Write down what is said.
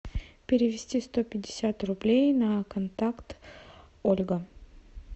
перевести сто пятьдесят рублей на контакт ольга